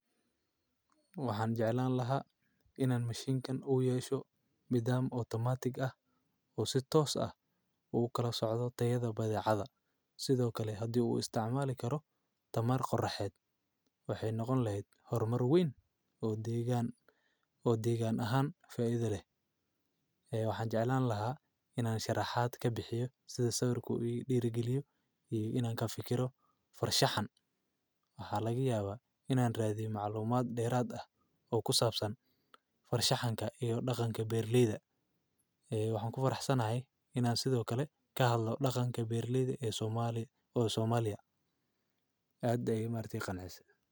Waxaan jeclaan lahaa inaan mishiinkan u yeesho bidaam otomaatig ah uu si toos ah uu kala socdo tayada badiicadda sidoo kale haddii uu isticmaali karo tamaar qorraxeed. Waxay noqon lahayd horumar weyn oo deegaan oo deegaan ahaan faaidile. Waxaan jeclaan lahaa in aan sharaxaad ka bixiyo sida sawirku u dhiirigeliyo iyo in aan ka fikirno farshaxan. Waxaa laga yaabaa in aan raadin macluumaad dheeraad ah oo ku saabsan farshaxanka iyo dhaqanka Berliida. Waxaan ku faraxsanahay in aan sidoo kale ka hadlo dhaqanka Berliida ee Soomaaliya oo Soomaaliya. Cadday, marti qanacsi.